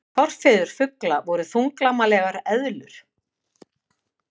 forfeður fugla voru þunglamalegar eðlur